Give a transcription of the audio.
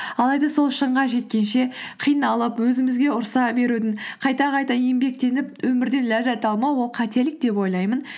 алайда сол шыңға жеткенше қиналып өзімізге ұрыса берудің қайта қайта еңбектеніп өмірден ләззат алмау ол қателік деп ойлаймын